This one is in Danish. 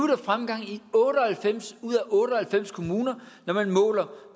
der fremgang i otte og halvfems ud af otte og halvfems kommuner når man måler